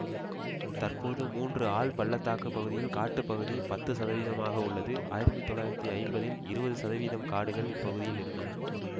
தற்போது மூன்று ஆழ்பள்ளத்தாக்கு பகுதியில் காட்டுப்பகுதி பத்து சதவீதம் ஆக உள்ளது ஆயிரத்தி தொள்ளாயிரத்தி ஐம்பதில் இருபது சதவீதம் காடுகள் இப்பகுதியில் இருந்தன